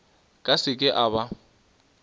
ka se ke a ba